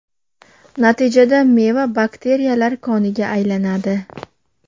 Natijada meva bakteriyalar koniga aylanadi.